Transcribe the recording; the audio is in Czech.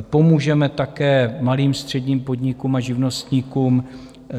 Pomůžeme také malým, středním podnikům a živnostníkům